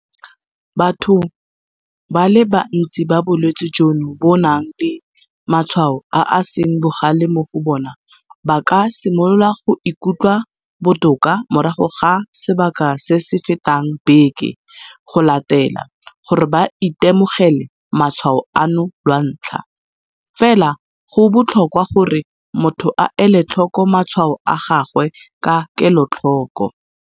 Batho ba le bantsi ba bolwetse jono bo nang le matshwao a a seng bogale mo go bona ba ka simolola go ikutlwa botoka morago ga sebaka se se fetang beke go latela gore ba itemogele matshwao ano lwantlha, fela go botlhokwa gore motho a ele tlhoko matshwao a gagwe ka kelotlhoko.